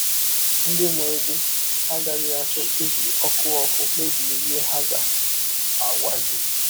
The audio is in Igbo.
Ndị mụrụ gị agaghị achọ iji ọkụ ọkụ kpebie ihe ha ga - agwa gị.